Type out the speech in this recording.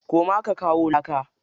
Koma ka kawo laka.